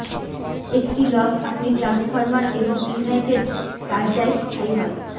একটি লস আপনি ট্রান্সফরমার এবং ইউনাইটেড টারজাইট স্থায়ী হয়